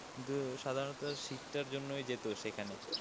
তো সাধারণত শীতটার জন্যই যেত সেখানে।